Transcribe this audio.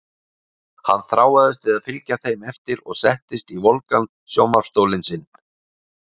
Hann þráaðist við að fylgja þeim eftir og settist í volgan sjónvarps- stólinn sinn.